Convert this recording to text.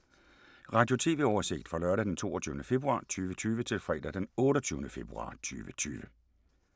Radio/TV oversigt fra lørdag d. 22. februar 2020 til fredag d. 28. februar 2020